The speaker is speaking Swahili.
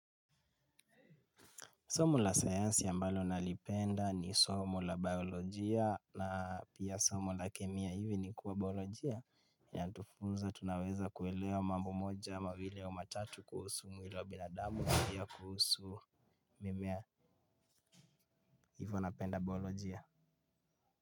Somo la sayansi ambalo nalipenda ni somo la biolojia na pia somo la kemia hivi ni kuwa biolojia inatufunza tunaweza kuelewa mambo moja ama mbili ama tatu kuhusu mwili wa binadamu na pia kuhusu mimea hivyo napenda biolojia.